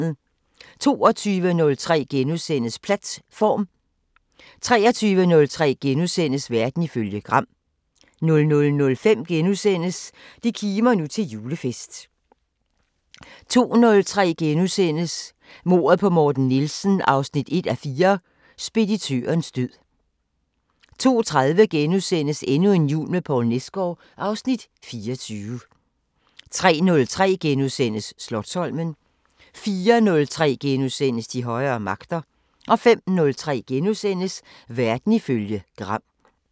22:03: Platt-form * 23:03: Verden ifølge Gram * 00:05: Det kimer nu til julefest * 02:03: Mordet på Morten Nielsen 1:4 – Speditørens død * 02:30: Endnu en jul med Poul Nesgaard (Afs. 24)* 03:03: Slotsholmen * 04:03: De højere magter * 05:03: Verden ifølge Gram *